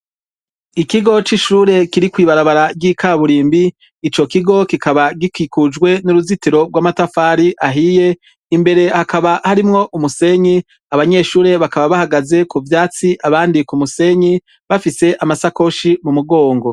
Ikigo c'ishure kiri kw'ibarabara ry'ikaburimbi; icokigo kikaba gikwikujwe n'uruzitiro rw'amatafari ahiye, imbere hakaba harimwo umusenyi. Abanyeshure bakaba bahagaze kuvyatsi abandi k'umusenyi bafise amasakoshi m'umugongo.